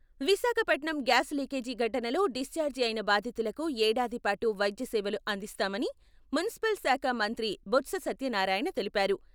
Visakhapatnam gas leakage ఘటనలో discharge అయిన బాధితులకు ఏడాది పాటు వైద్య సేవలు అందిస్తామని మునిసిపల్ శాఖ మంత్రి బొత్స సత్యనారాయణ తెలిపారు.